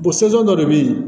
dɔ de bɛ yen